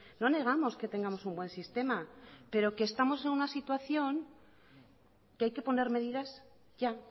no negamos que tengamos un buen sistema pero que estamos en una situación que hay que poner medidas ya